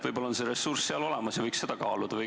Võib-olla on see ressurss seal olemas ja võiks seda kaaluda.